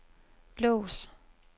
lås